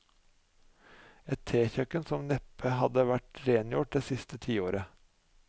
Et tekjøkken som neppe hadde vært rengjort det siste tiåret.